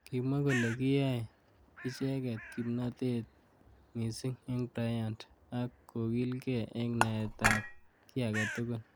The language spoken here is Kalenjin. Kimwa kole kiyai icheket kimnotete missing eng Bryant ak kokilgei. eng naet ab ki age tugul.